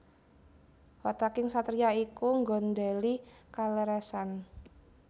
Wataking satriya iku nggondhèli kaleresan